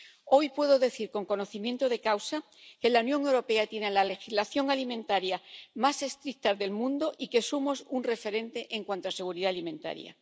Hoy puedo decir con conocimiento de causa que la Unión Europea tiene la legislación alimentaria más estricta del mundo y que somos un referente en cuanto a seguridad alimentaria.